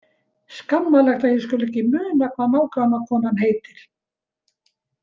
Skammarlegt að ég skuli ekki muna hvað nágrannakonan heitir.